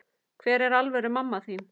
Hver er alvöru mamma þín?